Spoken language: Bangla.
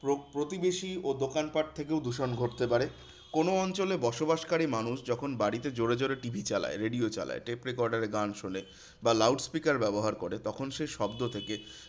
প্র প্রতিবেশী ও দোকানপাঠ থেকেও দূষণ ঘটতে পারে। কোনো অঞ্চলে বসবাসকারী মানুষ যখন বাড়িতে জোড়ে জোড়ে TV চালায়, radio চালায়, tape recorder এ গান শোনে বা loud speaker ব্যবহার করে তখন সে শব্দ থেকে